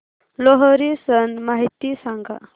लोहरी सण माहिती सांगा